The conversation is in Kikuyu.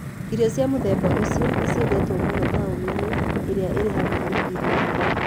Irio cia mũthemba ũcio nĩ ciendetwo mũno taũni-inĩ iria irĩ hakuhĩ na iria.